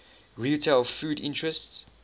retail foods interests